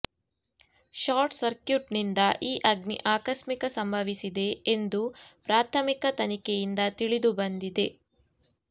short ಸಕ್ರ್ಯೂಟ್ನಿಂದ ಈ ಅಗ್ನಿ ಆಕಸ್ಮಿಕ ಸಂಭವಿಸಿದೆ ಎಂದು ಪ್ರಾಥಮಿಕ ತನಿಖೆಯಿಂದ ತಿಳಿದು ಬಂದಿದೆ